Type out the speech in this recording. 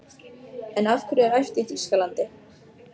En af hverju er æft í Þýskalandi?